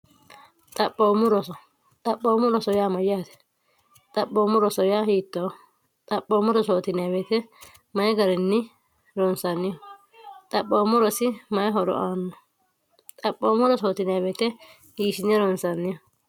xhmrooxaphoommo roso yaa mayyaate xaphoommu roso ya hiittoo xaphoommoro sonwe mayi garinni ronsanniho xaphoommorosi mayi horo aanno xaphoommoro sonwe hiishiye ronsanniho